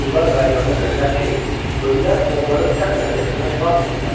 Qullar qayıdanda dedilər ki, ölülər onları dəfn əziyyətindən xilas etdilər.